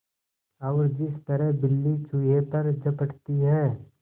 और जिस तरह बिल्ली चूहे पर झपटती है